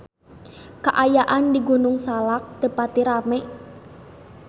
Kaayaan di Gunung Salak teu pati rame